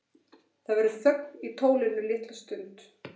Það verður þögn í tólinu litla stund.